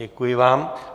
Děkuji vám.